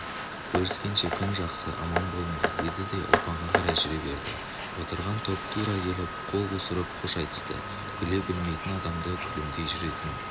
көріскенше күн жақсы аман болыңдар деді де ұлпанға қарай жүре берді отырған топ тура келіп қол қусырып қош айтысты күле білмейтін адамды күлімдей жүретін